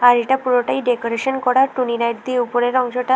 বাড়িটা পুরোটাই ডেকোরেশন করা টুনি লাইট দিয়ে উপরের অংশটা।